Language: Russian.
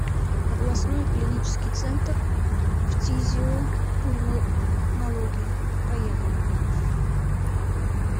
областной клинический центр фтизиопульмонологии поехали